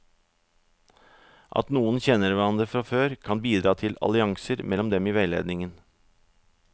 At noen kjenner hverandre fra før, kan bidra til allianser mellom dem i veiledningen.